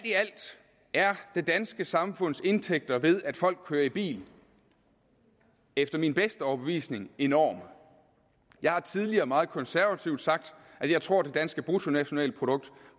er det danske samfunds indtægter ved at folk kører i bil efter min bedste overbevisning enorme jeg har tidligere meget konservativt sagt at jeg tror det danske bruttonationalprodukt